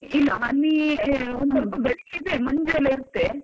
ಇಲ್ಲ ಹನಿ ಒಂದ್ ಸ್ವಲ್ಪ ಬೆಳಿಗ್ಗೆ ಇದೆ ಸ್ವಲ್ಪ ಮಂಜೆಲ್ಲಾ ಇರುತ್ತೆ.